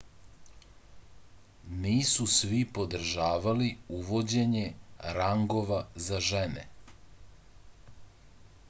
nisu svi podržavali uvođenje rangova za žene